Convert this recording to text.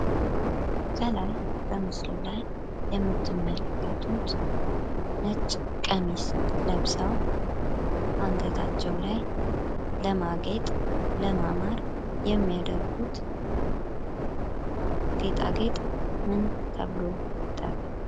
ከላይ በምስሉ ላይ የምትመለከቱት ነጭ ቀሚስ ለብሰው አንገታቸው ላይ ለማጌጥ፣ ለመዋብ የሚያደርጉት ጌጣጌጥ ምን ተብሎ ይጠራል?